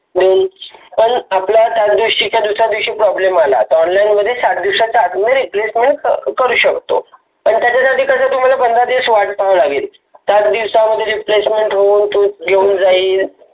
दोन पण त्याच दिवशी कीव्हा दुसऱ्या दिवशी problem आला तर सात दिवसाच्या आत मध्ये Replacement करू शकतो. पण त्याच्यासाठी कसं तुम्हाला पंधरा दिवस वाट पाहावे लागेल. सातदिवसामध्ये तुमचं Replacement होऊन घेऊन जाईल.